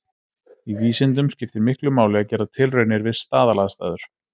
Í vísindum skiptir miklu máli að gera tilraunir við staðalaðstæður.